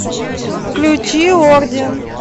включи орден